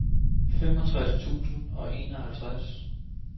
femogtres tusind og enoghalvtreds